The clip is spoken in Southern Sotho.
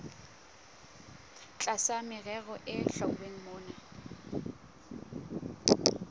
tlasa merero e hlwauweng mona